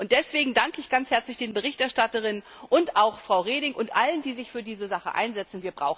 Deswegen danke ich ganz herzlich den Berichterstatterinnen und auch Frau Reding und allen, die sich für diese Sache einsetzen.